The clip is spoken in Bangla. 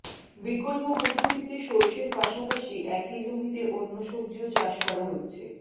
বিকল্প পদ্ধতিতে সর্ষের পাশাপাশি একই জমিতে অন্য সবজিও চাষ করা হচ্ছে